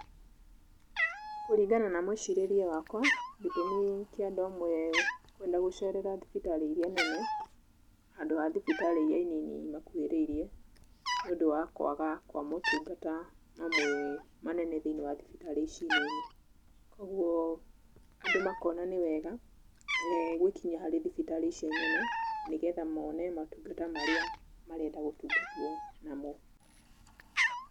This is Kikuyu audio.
Kũringana na mũĩcirĩrie wakwa, gĩtũmi kĩa andũ amwe kwenda gũcerera thibitarĩ iria nene handũ ha thibitarĩ iria i nini imakuhĩrĩirie nĩundũ wa kũaga motungata mamwe manene thĩinĩ wa thibitarĩ ici nini. Kũoguo andũ makona nĩwega gwĩkinyia harĩ thibitarĩ icio inene nĩgetha mone motungata marĩa marenda gũtungatwo namo.